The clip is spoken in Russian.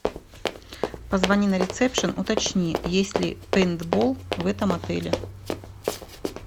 позвони на ресепшн уточни есть ли пейнтбол в этом отеле